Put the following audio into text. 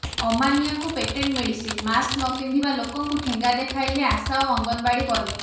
ଅମାନିଆଙ୍କୁ patent medicine mask ନପିନ୍ଧିବା ଲୋକଙ୍କୁ ଠେଙ୍ଗା ଦେଖାଇଲେ ଆଶା ଓ ଅଙ୍ଗନବାଡୀ କର୍ମୀ